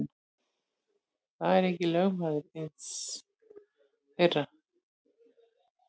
Þetta segir lögmaður eins þeirra.